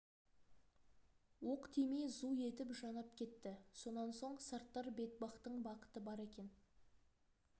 оқ тимей зу етіп жанап кетті сонан соң сарттар бетбақтың бақыты бар екен